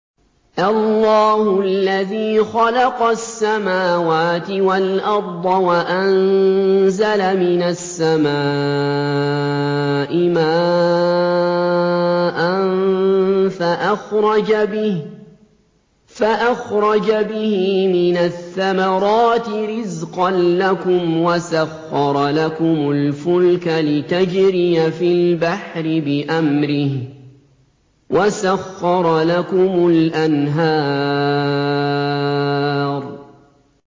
اللَّهُ الَّذِي خَلَقَ السَّمَاوَاتِ وَالْأَرْضَ وَأَنزَلَ مِنَ السَّمَاءِ مَاءً فَأَخْرَجَ بِهِ مِنَ الثَّمَرَاتِ رِزْقًا لَّكُمْ ۖ وَسَخَّرَ لَكُمُ الْفُلْكَ لِتَجْرِيَ فِي الْبَحْرِ بِأَمْرِهِ ۖ وَسَخَّرَ لَكُمُ الْأَنْهَارَ